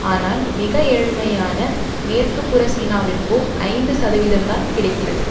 ஆனால் மிக ஏழ்மையான மேற்குப்புற சீனாவிற்கோ ஐந்து சதவிதம்தான் கிடைக்கிறது